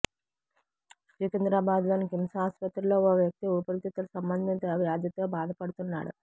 సికింద్రాబాద్ లోని కిమ్స్ ఆస్పత్రిలో ఓ వ్యక్తి ఊపిరితిత్తుల సంబంధింత వ్యాధితో బాధపడుతున్నాడు